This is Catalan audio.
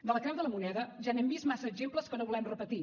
de la creu de la moneda ja n’hem vist massa exemples que no volem repetir